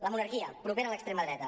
la monarquia propera a l’extrema dreta